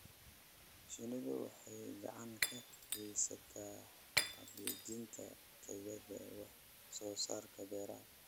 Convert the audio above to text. Shinnidu waxay gacan ka geysataa hagaajinta tayada wax soo saarka beeraha.